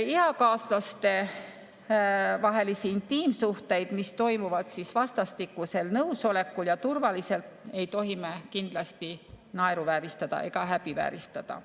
Eakaaslaste vahelisi intiimsuhteid, mis toimuvad vastastikusel nõusolekul ja turvaliselt, ei tohi me kindlasti naeruvääristada ega häbivääristada.